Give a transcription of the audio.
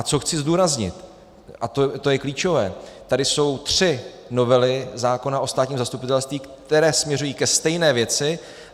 A co chci zdůraznit, a to je klíčové, tady jsou tři novely zákona o státním zastupitelství, které směřují ke stejné věci.